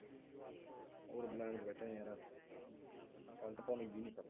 ਹੋਰ ਬਲਿੰਦ ਚ ਬੈਠੇਗਾ ਯਾਰਾਂ ਕਮ ਕਰਨ ਦਾ ਜੀ ਨੀ ਕਰਦਾ।